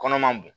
Kɔnɔ man bon